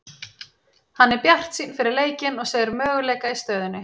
Hann er bjartsýnn fyrir leikinn og segir möguleika í stöðunni.